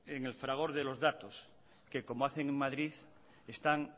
en el fragor de los datos que como hacen en madrid están